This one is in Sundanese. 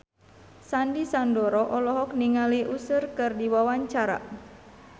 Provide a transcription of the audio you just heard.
Sandy Sandoro olohok ningali Usher keur diwawancara